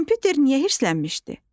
Kompüter niyə hirslənmişdi?